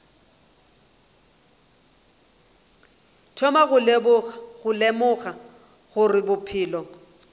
thoma go lemoga gore bophelo